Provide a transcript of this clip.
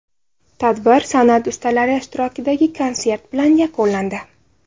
Tadbir san’at ustalari ishtirokidagi konsert bilan yakunlandi.